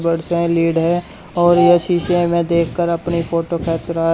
Lead है और यह शीशे में देखकर अपनी फोटो खींच रहा है।